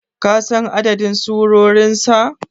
kasan adadin surorinsa?